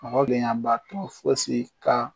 Mɔgɔ bɛ fosi kan